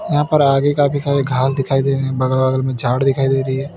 यहां पर आगे काफी सारे घास दिखाई दे रही है बगल अगल में झाड़ दिखाई दे रही है।